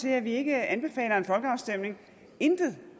at vi ikke anbefaler en folkeafstemning intet